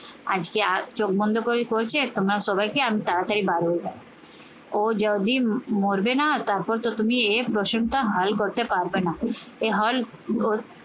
আজকে আহ চোখ বন্ধ করে করেছে আর তোমরা সবাইকে আমি তাড়াতাড়ি বার হয়ে যাই ও যদি মরবে না তারপর তো তুমি এ প্রশ্ন টা হাল করতে পারবে না। এ হল